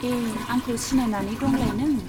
ए , आंखौ सिनायनानै दंलाय नों।